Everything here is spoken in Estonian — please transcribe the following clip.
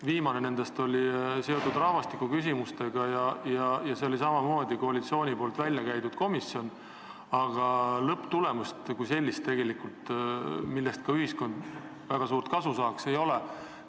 Viimane näiteks oli seotud rahvastikuküsimustega ja see oli samamoodi koalitsiooni välja käidud komisjon, aga lõpptulemust, millest ka ühiskond väga suurt kasu saaks, tegelikult ei ole.